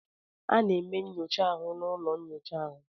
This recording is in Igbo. Ana eme nyocha ahụ n' ụlọ nnyocha ahụ.